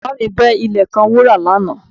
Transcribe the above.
Bàbá mi gbẹ́ ilẹ̀ kan wúrà lánàá